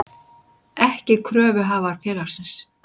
ekki kröfuhafar félagsins.